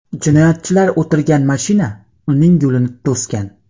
Jinoyatchilar o‘tirgan mashina uning yo‘lini to‘sgan.